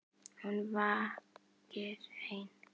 Hún vakir ein.